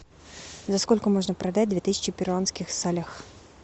за сколько можно продать две тысячи перуанских солях